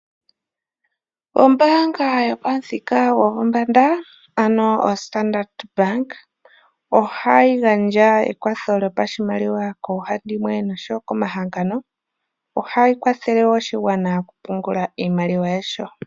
Ombaanga yopamuthika gopombanda ano OStandard Bank ohayi gandja ekwatho lyopashimaliwa koohandimwe osho wo komahangano. Ohayi kwathele woo oshigwana okupungula iimaliwa yasho.